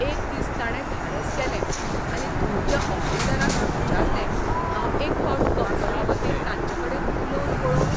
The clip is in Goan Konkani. एक दीस ताणे धाडस केलें आनी थंयच्या ऑफिसरांक विचारलें हांव एक फावट कंपनीवतीन तांचेकडेन उलोवन पळोवं?